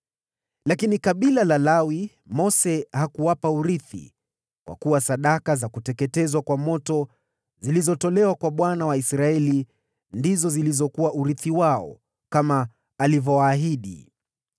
Lakini kwa kabila la Lawi, Mose hakupeana urithi, kwa kuwa sadaka za kuteketezwa kwa moto zilizotolewa kwa Bwana , Mungu wa Israeli, ndizo zilizokuwa urithi wao, kama alivyowaahidi.